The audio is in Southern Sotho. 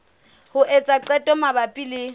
ho etsa qeto mabapi le